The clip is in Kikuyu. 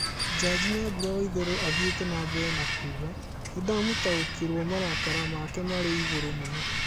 Njaji Nyambura Waitherero athiĩtĩ nambere na kuuga "nindamũtaũkiruo marakara make marĩ igũrũ mũno